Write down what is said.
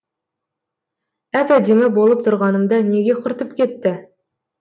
әп әдемі болып тұрғанымда неге құртып кетті